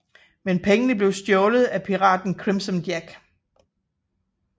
Men pengene blev stjålet af piraten Crimson Jack